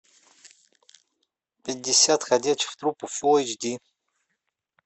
пятьдесят ходячих трупов фулл эйч ди